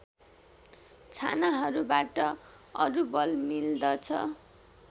छानाहरूबाट अरू बल मिल्दछ